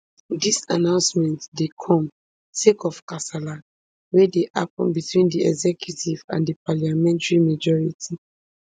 dis announcement dey come sake of kasala wey dey happun between di executive and di parliamentary majority